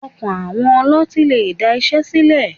Ọkàn àwọn ọlọ́tín lè da iṣẹ́ sílẹ̀.